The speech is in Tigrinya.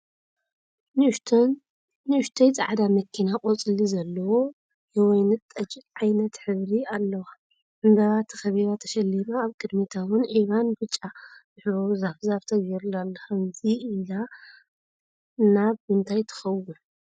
ንኡሽተይ ፃዕዳ መኪና ቆፅሊ ዘለዎ የወይንጠጅ ዓይነት ሕብሪ አለዎ ዕምበባ ተኸቢባ ተሸሊማ ኣብ ቕድሚታ'ውን ዒባን ብጫን ዝሕብሩ ዛፍ ዛፍ ተገይሩላ ኣሎ ፡ ከምዚ ኢላ ናብ ምንታይ ትኸውን ?